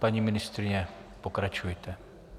Paní ministryně, pokračujte.